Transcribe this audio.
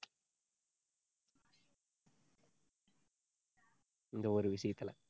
இந்த ஒரு விஷயத்துல